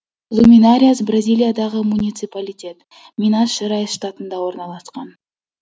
луминариас бразилиядағы муниципалитет минас жерайс штатында орналасқан